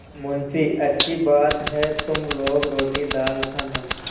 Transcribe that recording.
मुंशीअच्छी बात है तुम लोग रोटीदाल खाना